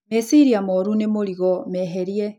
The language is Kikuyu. Meciria moru nĩ mũrigo, meherie.